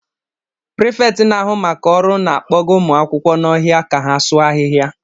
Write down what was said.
Prịfeti n'ahụ maka ọrụ na-akpọga ụmụ akwụkwọ n'ọhịa ka ha sụọ ahịhịa